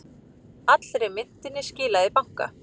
Allri myntinni skilað í banka